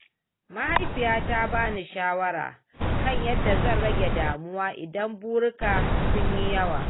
Mahaifiyata ta ba ni shawara kan yadda zan rage damuwa idan burika sun yi yawa.